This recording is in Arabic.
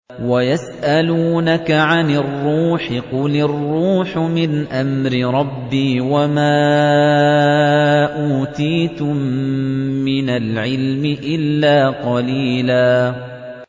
وَيَسْأَلُونَكَ عَنِ الرُّوحِ ۖ قُلِ الرُّوحُ مِنْ أَمْرِ رَبِّي وَمَا أُوتِيتُم مِّنَ الْعِلْمِ إِلَّا قَلِيلًا